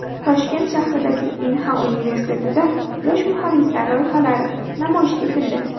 Toshkent shahridagi Inha universitetida yosh muhandislar loyihalari namoyish etildi.